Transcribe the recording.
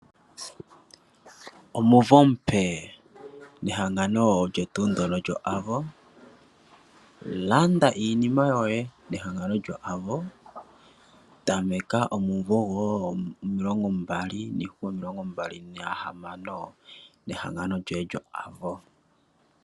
Omumvo omupe nehangano olyo tuu ndono lyo Avo. Landa iinima yoye nehangano lyo Avo. Tameka omumvo gomulongo mbali niihupe omilongo mbali nahamano, nehangano lyoye lyo Avo.